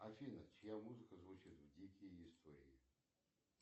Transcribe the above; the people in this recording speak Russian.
афина чья музыка звучит в дикие истории